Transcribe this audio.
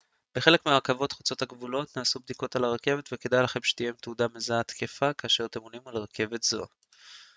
בחלק מהרכבות חוצות הגבולות נעשות בדיקות על הרכבת וכדאי שתהיה לכם תעודה מזהה תקפה כאשר אתם עולים על רכבת כזו